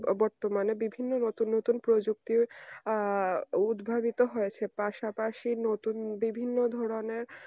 বর্তমানে বিভিন্ন রকমের নতুন প্রযুক্তির আহ উদ্ভাবিত হয়েছে পাশাপাশি নতুন বিভিন্ন ধরনের